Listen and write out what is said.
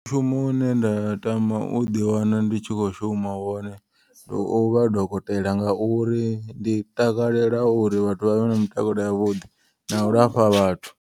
Mushumo une nda tama uḓi wana nditshi kho shuma wone ndi uvha dokotela. Ngauri ndi takalela uri vhathu vhavhe na mitakalo yavhuḓi na u lafha vhathu.